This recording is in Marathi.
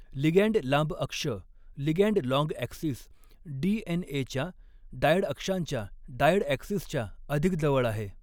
लिगॅंड लांब अक्ष ligand long axis D N एच्या डायड अक्षांच्या डायड ॲक्सिसच्या अधिक जवळ आहे.